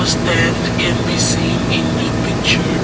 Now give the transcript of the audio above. stand can be seen the picture.